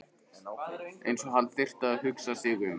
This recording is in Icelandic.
Eins og hann þyrfti að hugsa sig um.